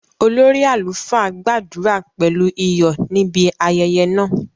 Olórí àlùfáà gbàdúrà pẹ̀lú iyọ̀ níbi ayẹyẹ náà